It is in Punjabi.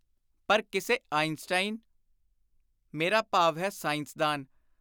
ਪਰ ਕਿਸੇ ਆਈਨਸਟਾਈਨ( ਮੇਰਾ ਭਾਵ ਹੈ ਸਾਇੰਸਦਾਨ।